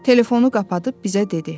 Telefonu qapadıb bizə dedi: